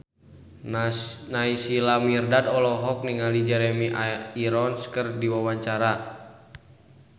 Naysila Mirdad olohok ningali Jeremy Irons keur diwawancara